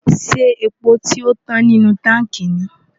ṣé epo tio tán nínú táǹkì ni?